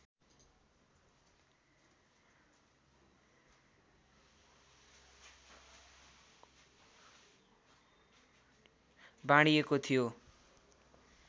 बाँडिएको थियो